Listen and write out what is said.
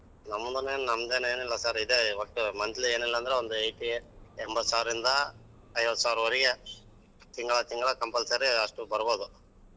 ನಮ್ ಮನೇಲಿ ನಮ್ದೇನ್ನೇನಿಲ್ಲ sir ಇದೆ ಒಟ್ಟು monthly ಎನಿಲ್ಲಾ ಅಂದ್ರು ಒಂದು ಎಂಬತ್ತ್ ಸಾವ್ರ ಇಂದ ಐವತ್ತ್ ಸಾವ್ರ ವರೆಗೆ ತಿಂಗ್ಳ ತಿಂಗ್ಳ compulsory ಅಷ್ಟು ಬರ್ಬೋದು.